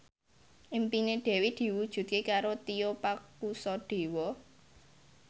impine Dewi diwujudke karo Tio Pakusadewo